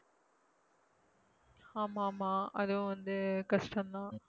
ஆமா ஆமா. அதுவும் வந்து கஷ்டந்தான்.